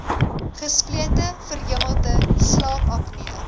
gesplete verhemelte slaapapnee